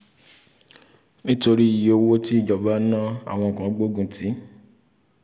nítorí iyé owó tí ìjọba ná àwọn kan gbógun tì